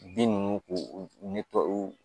Bin ninnu k'u ni tɔw